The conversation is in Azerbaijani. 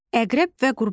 Əqrəb və Qurbağa.